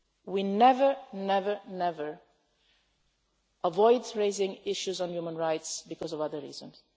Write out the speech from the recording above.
this. We never, ever avoid raising issues on human rights because of other